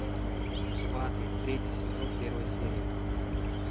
сваты третий сезон первая серия